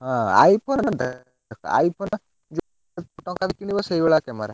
ହଁ iPhone, iPhone ଯେତେ ଟଙ୍କା ର କିଣିବ ସେଇ ଭଳିଆ କାମେରା।